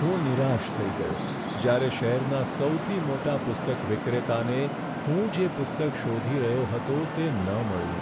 હું નિરાશ થઈ ગયો જ્યારે શહેરના સૌથી મોટા પુસ્તક વિક્રેતાને હું જે પુસ્તક શોધી રહ્યો હતો તે ન મળ્યું.